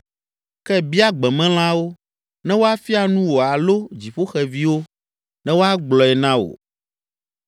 “Ke bia gbemelãwo, ne woafia nu wò alo dziƒoxeviwo, ne woagblɔe na wò.